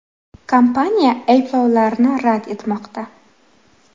Kompaniya ayblovlarni rad etmoqda.